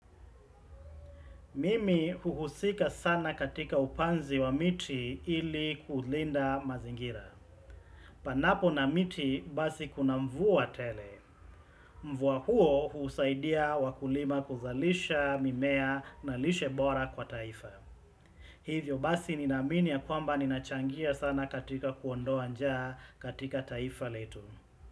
Mimi huhusika sana katika upanzi wa miti ili kulinda mazingira. Panapo na miti basi kuna mvua tele. Mvua huo husaidia wakulima kuzalisha mimea na lishe bora kwa taifa. Hivyo basi ninaamini ya kwamba ni nachangia sana katika kuondoa njaa katika taifa letu.